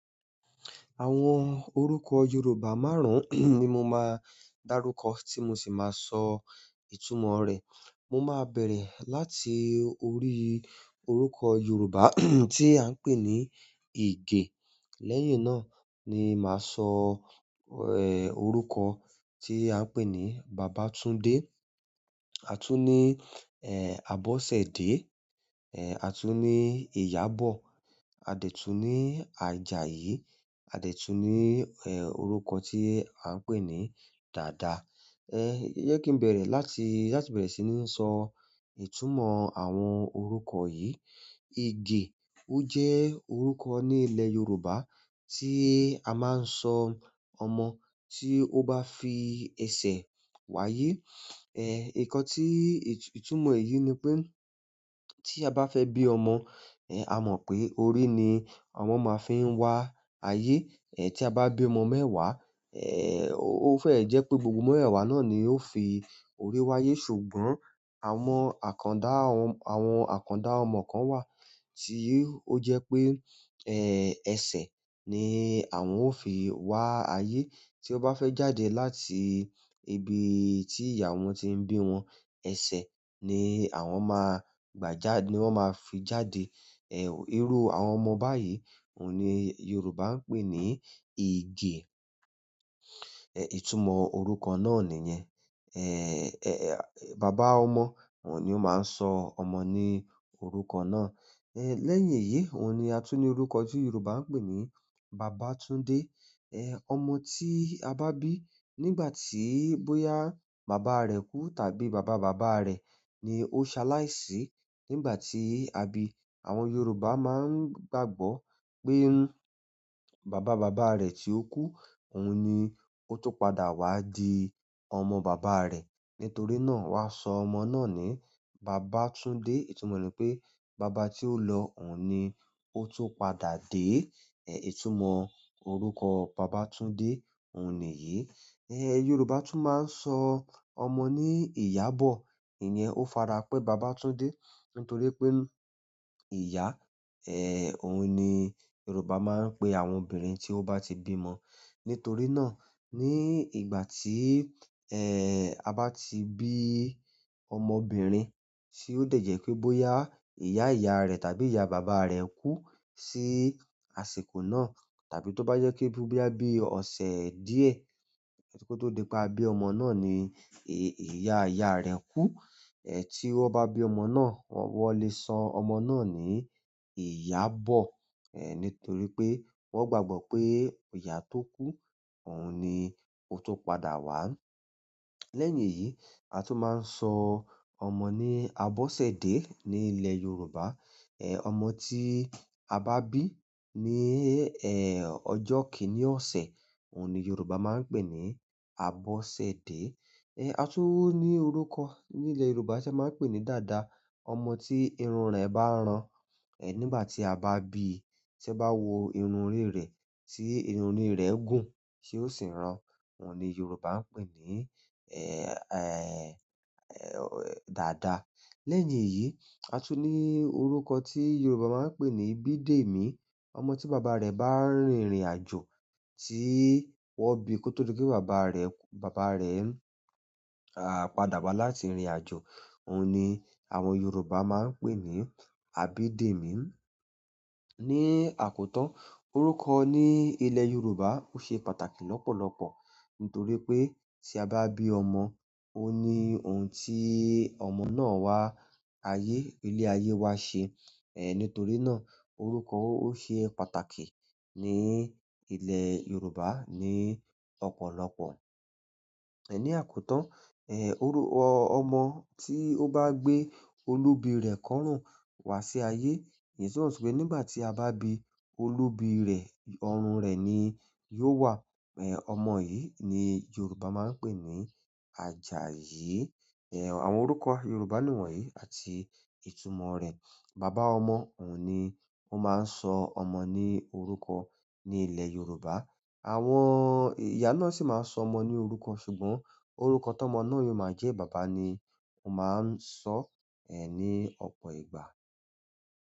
Àwọn orúkọ Yorùbá márùn-ún ni mo máa darúkọ tí mo sì máa sọ ìtumọ̀ rẹ̀. Mo máa bẹ̀rẹ̀ láti orí orúkọ Yorùbá tí à ń pè ní Ige. Lẹ́yìn náà ni màá sọ, orúkọ tí à ń pè ní Bàbátúndé. A tún ní, Abọ́sẹ̀dé, a tún ní Iyabọ̀, a detún ní Àjàyí, a de tún ní, orúkọ tí à ń pè ní dada. Ẹ, jẹ́ kí n bẹ̀rẹ̀ láti, láti bẹ̀rẹ̀ sí ní sọ ìtumọ̀ àwọn orúkọ yìí. Ige o je orúkọ ni ile yorùbá ti a maa n so ọmọ ti o ba fi ese wáyé nǹkan tí ìtumọ̀ èyí ni pé tí a bá fẹ́ bí ọmọ, a mọ̀ pé orí ni ọmọ máa fi n wá ayé. Ti a ba bi ọmọ mẹ́wàá o fee je pe gbogbo mewewa ni yóò fi orí wáyé. Ṣùgbọ́n àwọn àkàndá, àwọn àkàndá ọmọ kan wà tí ó jẹ́ pé, ẹsẹ̀ ni àwọn ó fi wá ayé. Tí ó bá fẹ́ jáde láti ibi tí ìyá wọn ti ń bí wọn, ẹsẹ̀ ni àwọn máa gbà já-- ni wọ́n máa fi jáde. Irú àwọn ọmọ báyìí òun ni Yorùbá ń pè ní Ige. Ẹ, ìtumọ̀ orúkọ náà nìyẹn. Bàbá ọmọ òun ni ó máa ń sọ ọmọ ní orúkọ náà. Ẹ, lẹ́yìn èyí, òun ni a tún ní orúkọ tí Yorùbá ń pè ní Bàbátúndé. Ọmọ tí a bá bí nígbà tí bóyá bàbá rẹ̀ kú tàbí bàba bàbá rẹ̀ ni ó ṣaláì sí nígbà tí a bí i. Àwọn yorùbá maa n gbàgbọ́ pe baba baba re ti oku oun ni ọ̀tún padà wa di ọmọ baba re. Nítorí náà, won a so ọmọ náà ni babatunde, itumo re ni pe, baba ti o lo, oun ni o tun padà de. Ẹ, ìtumọ̀ orúkọ Bàbátúndé òun nìyí. Yorùbá tún máa ń sọ ọmọ ní Iyabọ̀. Ìyẹn ó farapẹ́ Bàbátúndé nítorí pé ìyá, òun ni Yorùbá máa ń pè àwọn obìnrin tí ó bá ti bí ọmọ. Nítorí náà ní ìgbà tí, ẹ, ta bá ti bí ọmọbìnrin tí ó dẹ̀ jẹ́ pé bóyá ìyá ìyá rẹ̀ tàbí ìyá bàbá rẹ̀ kú sí àsìkò náà tàbí tó bá jẹ́ pe bóya bí a bí ọ̀sẹ̀ díẹ̀ kí ó tó di pé a bí ọmọ náà ni ìyá ìyá rẹ̀ kú. Tí wón bá bí ọmọ náà, wọ́n lè sọ ọmọ náà ní Iyabọ̀. Ẹ, nítorí pé wọ́n gbàgbọ́ pé ìyá tó kú òun ni ó tó padà wá. Lẹ́yìn èyí, a tún máa ń sọ ọmọ ní Abọ́sẹ̀dé ní ilẹ̀ Yorùbá. Ọmọ tí a bá bí ní, ọjọ́ kìnní ọ̀sẹ̀ òun ni Yorùbá máa ń pè ní Abọ́sẹ̀dé. A tún ní orúkọ ní ilẹ̀ Yorùbá tí a máa ń pè ní dada. Ọmọ tí irun rẹ̀ bá ràn, ẹ, nígbà tí a bá bí i, tí ẹ bá wo irun orí rẹ̀ tí irun orí rẹ̀ gùn tí ó sì ń ràn, òun ni Yorùbá ń pè ní, dada. Lẹ́yìn èyí, a tún ní orúkọ tí Yorùbá máa ń pè ní Abídèmí. Ọmọ tí bàbá rẹ̀ bá rìnrìn àjò tí wọ́n bi kó tó di pé bàbá rẹ̀, bàbá rẹ̀, padà wá láti irìn àjò òun ni àwọn Yorùbá máa ń pè ní Abídèmí. Ni àkótán orúkọ ní ilẹ̀ Yorùbá ó ṣe pàtàkì lọ́pọ̀lọ́pọ̀ nítorí pé tí a bá bí ọmọ, ò ni òun tí ọmọ náà wá ayé, ilé ayé wá ṣe. Nítorí náà, orúkọ o se pàtàkì ni ile yorùbá ni ọ̀pọ̀lọpọ̀ ní àkótán, orúkọ ọmọ tí ó bá gbé olubi rẹ̀ kọ́rùn wá sí ayé, ìdí tí ó ń sọ pé nígbà tí a bá bí i olubi rẹ̀ ọrùn rẹ̀ ni yóò wà. Ẹ, ọmọ yìí ni Yorùbá máa ń pè ní Àjàyí. Àwọn orúkọ Yorùbá niwọ̀nyí àti ìtumọ̀ rẹ̀. Bàbá ọmọ òun ni ó máa ń sọ ọmọ ní orúkọ ní ilẹ̀ Yorùbá. Àwọn ìyá náà sì máa ń sọ ọmọ ní orúkọ ṣùgbọ́n orúkọ tó ọmọ náà yóò máa jẹ́ bàbá ni ó máa ń sọ, ní ọ̀pọ̀ ìgbà.